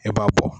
E b'a bɔ